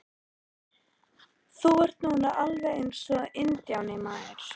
Þú ert nú bara alveg eins og INDJÁNI, maður!